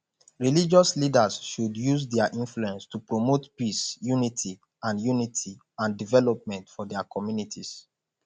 religious leaders should use dia influence to promote peace unity and unity and development for dia communities